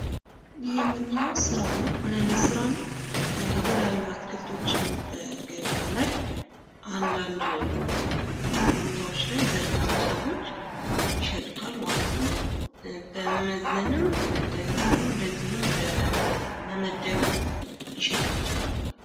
ይህ የምናየው ስራ ነው። ምን አይነት ስራ ነው? የተልያዩ አትክልቶችን ገበያ ላይ አንዳንድ ቦታዎች ላይ ዘርግተው ሰዎች ይሸጡታል ማለት ነው። በመመዘንም እንደገና ደግሞ በመመደብ ሊሸጡት ይችላሉ።